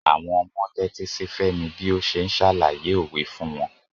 Àwọn ọmọ tẹ́tí sí Femi bí ó ṣe ń ṣàlàyé òwe fún wọn.